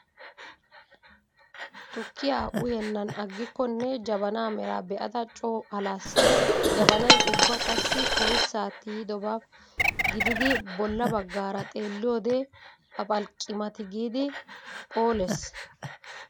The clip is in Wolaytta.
Tukkiyaa uyyennan aggikkonne jabanaa meraa be'ada coo alaas. Jabanay ubba qassi oyssaa tiyidobaa gididi bolla bagggaara xeelliyoode papalqqi mati giidi phoolees.